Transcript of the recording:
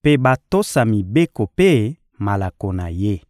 mpe batosa mibeko mpe malako na Ye.